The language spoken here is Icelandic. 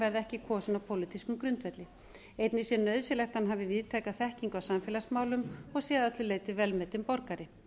verði ekki kosinn á pólitískum grundvelli einnig sé nauðsynlegt að hann hafi víðtæka þekkingu á samfélagsmálum og sé að öllu leyti vel metinn borgari